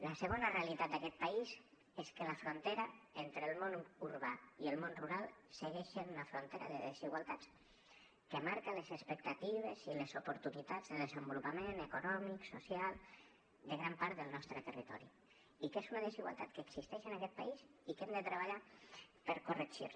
la segona realitat d’aquest país és que la frontera entre el món urbà i el món rural segueix sent una frontera de desigualtats que marca les expectatives i les oportunitats de desenvolupament econòmic social de gran part del nostre territori i que és una desigualtat que existeix en aquest país i que hem de treballar per corregir la